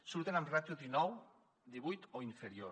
surten amb ràtio dinou divuit o inferior